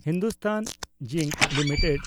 Hindustan zinc limited